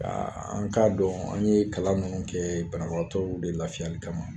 An k'a dɔn an ye kalan ninnu kɛ banabagatɔw de lafiyali kama